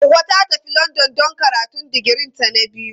Hauwa ta tafi London don karatun digirinta na biyu.